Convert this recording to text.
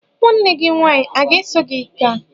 Nwanne gi nwanyi o ga-eso gi gaa?